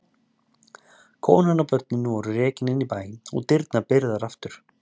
Konan og börnin voru rekin inn í bæ og dyrnar byrgðar aftur.